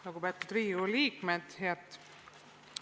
Lugupeetud Riigikogu liikmed!